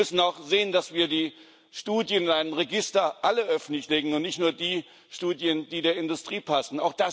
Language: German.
Wir müssen auch sehen, dass wir alle Studien in einem Register offenlegen, und nicht nur die Studien, die der Industrie passen.